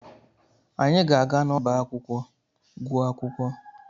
Anyị ga-aga n'ọba akwụkwọ gụọ akwụkwọ.